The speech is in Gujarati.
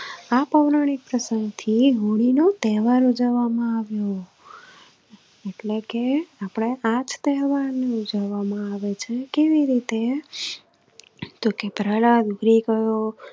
આ પૌરાણિક પ્રસંગ થી હોળી નો તહેવાર ઉજવામાં આવ્યો એટલે કે આપડે આજ તહેવાર ઉજવામાં આવે છે કેવી રીતે તો કે પ્રહલાદ